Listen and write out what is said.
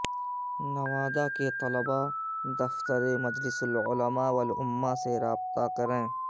نوادہ کے طلباء دفتر مجلس العلماء والامہ سے رابطہ کریں